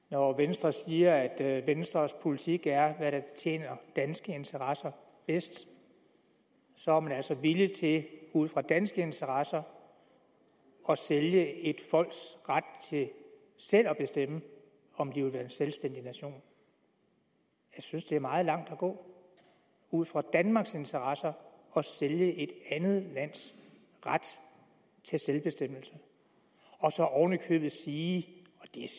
når venstre siger at venstres politik er hvad der tjener danske interesser bedst så er man altså villig til ud fra danske interesser at sælge et folks ret til selv at bestemme om de vil være en selvstændig nation jeg synes det er meget langt at gå ud fra danmarks interesser at sælge et andet lands ret til selvbestemmelse og så oven i købet sige